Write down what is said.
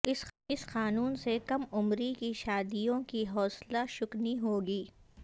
اس قانون سے کم عمری کی شادیوں کی حوصلہ شکنی ہوگی